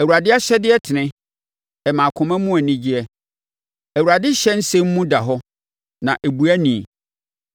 Awurade ahyɛdeɛ tene; ɛma akoma mu anigyeɛ. Awurade ɔhyɛ nsɛm mu da hɔ; na ɛbue ani.